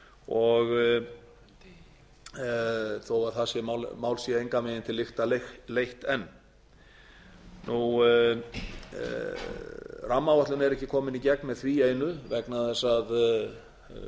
og þó að það mál sé engan veginn til lykta leitt enn rammaáætlun er ekki komin í gegn með því einu vegna þess að